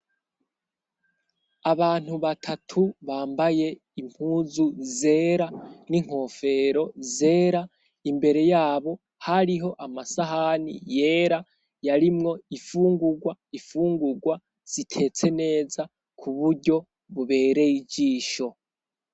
abantu batatu bambaye impuzu zera n'inkofero zera imbere yabo hariho amasahani yera yarimwo ifungugwa ifungugwa zitetse neza ku buryo bubereye ijisho